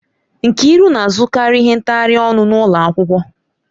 Nkiru na-azụkarị ihe ntaghari ọnụ n'ụlọ akwụkwọ.